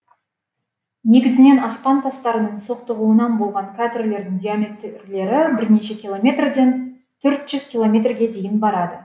негізінен аспан тастарының соқтығуынан болған кратерлердің диаметрлері бірнеше километр ден төрт жүз километрге дейін барады